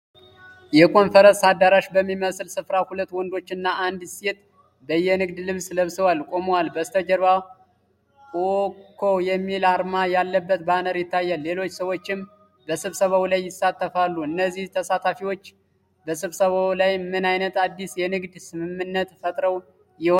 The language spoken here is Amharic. የኮንፈረንስ አዳራሽ በሚመስል ስፍራ ሁለት ወንዶችና አንዲት ሴት በየንግድ ልብስ ለብሰው ቆመዋል። በስተጀርባ "WKO" የሚል አርማ ያለበት ባነር ይታያል፤ ሌሎች ሰዎችም በስብሰባው ላይ ይሳተፋሉ። እነዚህ ተሳታፊዎች በስብሰባው ላይ ምን ዓይነት አዲስ የንግድ ስምምነት ፈጥረው ይሆን?